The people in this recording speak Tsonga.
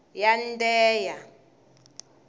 yandheya